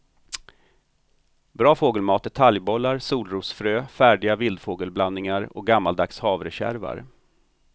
Bra fågelmat är talgbollar, solrosfrö, färdiga vildfågelblandningar och gammaldags havrekärvar.